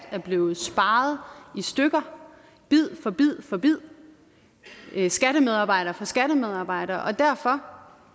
er blevet sparet i stykker bid for bid for bid skattemedarbejder for skattemedarbejder og derfor